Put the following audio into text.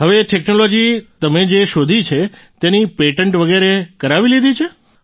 હવે આ ટેક્નોલોજી તમે જે શોધી છે તેની પેટન્ટ વગેરે કરાવી લીધી છે